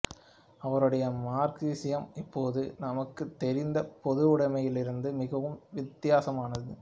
அவருடைய மார்க்சியம் இப்போது நமக்குத் தெரிந்த பொதுவுடமையிலிருந்து மிகவும் வித்தியாசமானது